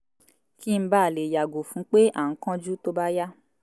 kí n ba lè yàgò fún pé à ń kánjú tó bá yá?